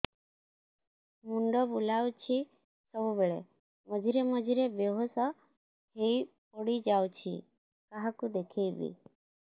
ମୁଣ୍ଡ ବୁଲାଉଛି ସବୁବେଳେ ମଝିରେ ମଝିରେ ବେହୋସ ହେଇ ପଡିଯାଉଛି କାହାକୁ ଦେଖେଇବି